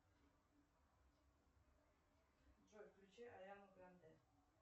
джой включи ариану гранде